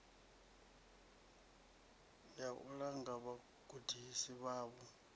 ya u langa vhagudisi vhavho